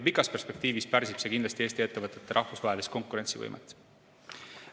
Pikas perspektiivis pärsib see kindlasti Eesti ettevõtete rahvusvahelist konkurentsivõimet.